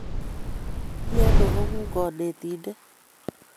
Mi ano konguuk konetindet